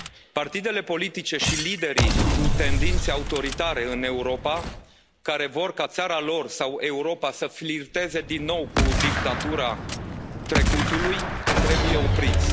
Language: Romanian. Partidele politice și liderii cu tendințe autoritare în Europa, care vor ca țara lor sau Europa să flirteze din nou cu dictatura trecutului, trebuie opriți.